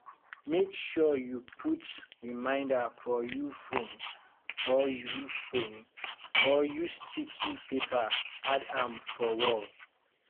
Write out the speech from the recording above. make sure you put reminder for you phone or you phone or use sticky paper add am for wall